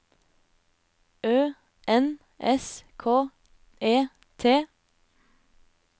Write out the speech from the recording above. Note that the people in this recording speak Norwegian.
Ø N S K E T